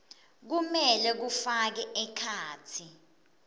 kumele kufake ekhatsi